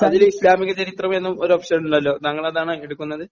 അതിൽ ഇസ്ലാമികചരിത്രം എന്നൊരു ഓപ്ഷനുണ്ടല്ലോ, താങ്കൾ അതാണാ എടുക്കുന്നത്?